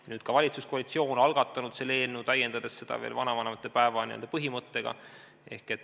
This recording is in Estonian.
Nüüd on ka valitsuskoalitsioon algatanud selle eelnõu, täiendades seda veel vanavanemate päeva põhimõttega.